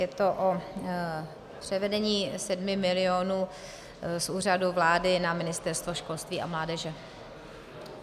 Je to o převedení 7 milionů z Úřadu vlády na Ministerstvo školství a mládeže.